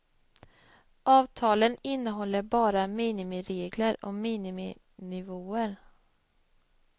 Avtalen innehåller bara minimiregler och miniminivåer.